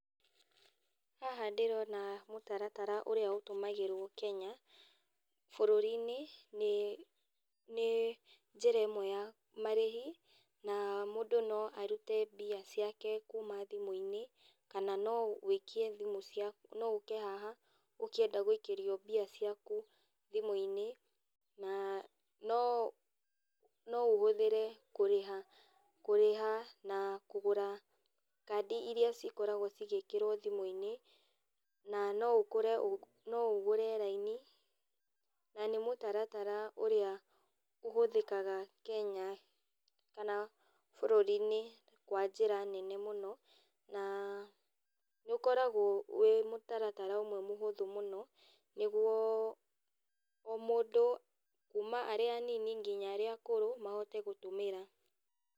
Haha ndĩrona mũtaratara ũrĩa ũtũmagĩrwo Kenya, bũrũrinĩ, nĩ nĩ njĩra ĩmwe ya marĩhi, na mũndũ no arute mbia ciake kuma thimũinĩ, kana no ũ wĩikie thimũ ciaku no ũke haha, ũkĩenda gũikĩrio mbia ciaku thimũinĩ, na no no ũhũthĩre kũrĩha kũrĩha na kũgũra kandi iria cikoragwo cigĩkĩrwo thimũinĩ, na no ũkũre ũ no ũgũre raini, na nĩ mũtaratara ũrĩa ũhũthĩkaga Kenya, kana bũrũrinĩ kwa njĩra nene mũno, na nĩũkoragwo wĩ mũtaratara ũmwe mũhũthũ mũno, nĩguo o mũndũ kuma arĩa anini, nginya arĩa akũrũ, mahote gũtũmĩra.